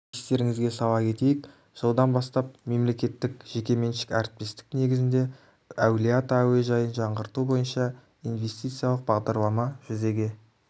естерінізге сала кетейік жылдан бастап мемлекеттік-жекеменшік әріптестік негізіндеи әулие ата әуежайын жаңғырту бойынша инвестициялық бағдарлама жүзеге